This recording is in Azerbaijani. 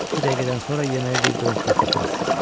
İki dəqiqədən sonra yeməyə bir qırıntıda tapmazsınız.